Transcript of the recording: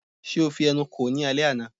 Ṣe o fi ẹnu kò ó ní alẹ́ àná?